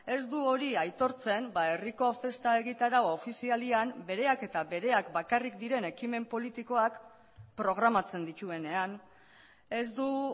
ez du hori aitortzen herriko festa egitarau ofizialean bereak eta bereak bakarrik diren ekimen politikoak programatzen dituenean ez du